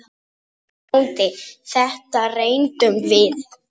BÓNDI: Þetta reyndum við!